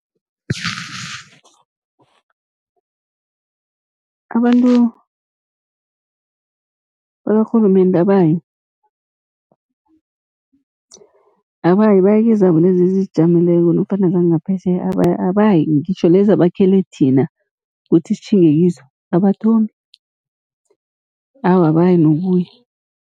Abantu bakarhulumende abayi, abayi baya kezabo lezi ezizijameleko nofana zangaphetjheya abayi, ngitjho lezi abakhele thina kuthi sitjhinge kizo, abathomi awa abayi nokuya.